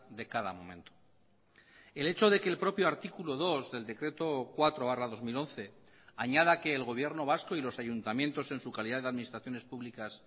de cada momento el hecho de que el propio artículo dos del decreto cuatro barra dos mil once añada que el gobierno vasco y los ayuntamientos en su calidad de administraciones públicas